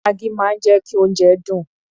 Maggi máa ń jẹ́ kí oúnjẹ dùn.